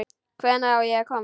Hvenær á ég að koma?